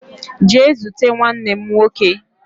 Jee zute nwannem nwoke